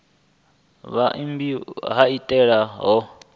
vhumbiwa ha maitele a u